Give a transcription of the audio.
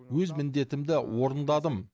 өз міндетімді орындадым